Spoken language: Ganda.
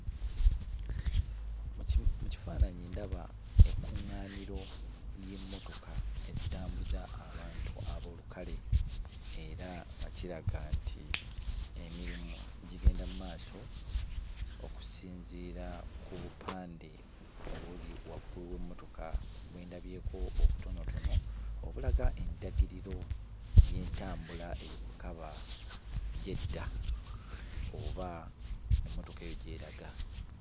Mu ki mu kifaananyi ndaba ekkuŋŋaaniro ly'emmotoka ezitambuza abantu ab'olukale era nga kiraga nti emirimu gigenda mu maaso okusinziira ku bupande obuli waggulu w'emmotoka bwe ndabyeko obutonotono, obulaga endagiriro y'entambula eyo kwe kaba gy'edda oba emmotoka eyo gy'eraga.